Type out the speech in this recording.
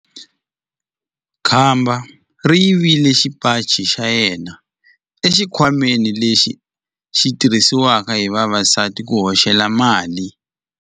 Khamba ri yivile xipaci xa yena exikhwameni lexi xi tirhisiwaka hi vavasati ku hoxela mali.